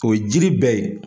O ye jiri bɛɛ ye